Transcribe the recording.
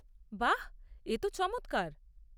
বাহ, এ তো চমৎকার।